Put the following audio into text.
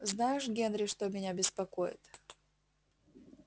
знаешь генри что меня беспокоит